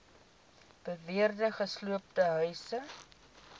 beweerde gesloopte huise